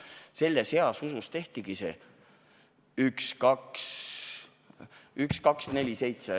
Selles heas usus tehtigi 1247.